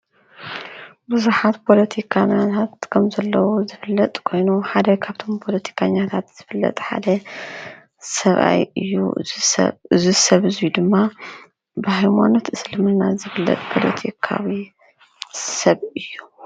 ብዙሓት ፖለቲከኛታት ከም ዘለዉ ዝፍለጥ ኮኑ ሓደ ካብቶም ፖለቲከኛታት ዝፍለጥ ሓደ ሰብኣይ እዩ። እዚ ሰብ እዚ ድማ ብሃይማኖት እስልምና ዝፍለጥ ፖለቲካዊ ሰብ እዩ ።